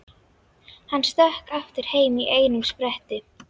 Hann stökk aftur heim í einum spretti.